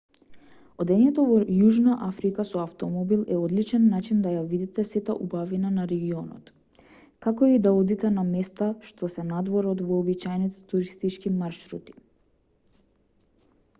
одењето во јужна африка со автомобил е одличен начин да ја видите сета убавина на регионот како и да одите на места што се надвор од вообичаените туристички маршрути